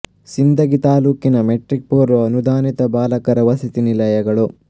ಸಿಂದಗಿ ತಾಲ್ಲೂಕಿನ ಮೆಟ್ರಿಕ್ ಪೂರ್ವ ಅನುದಾನಿತ ಬಾಲಕರ ವಸತಿ ನಿಲಯಗಳು